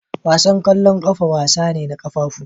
Wasan ƙwallon ƙafa wasa ne da ƙafafu.